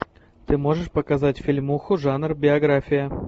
ты можешь показать фильмуху жанр биография